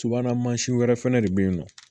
Subahana mansin wɛrɛ fɛnɛ de bɛ ye nɔ